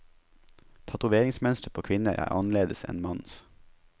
Tatoveringsmønsteret på kvinner er annerledes enn mannens.